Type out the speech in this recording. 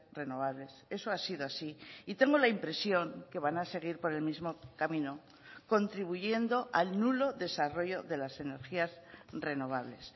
renovables eso ha sido así y tengo la impresión que van a seguir por el mismo camino contribuyendo al nulo desarrollo de las energías renovables